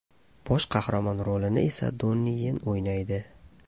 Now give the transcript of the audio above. Bosh qahramon rolini esa Donni Yen o‘ynaydi.